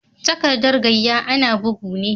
Takaddar gayya ana bugu ne.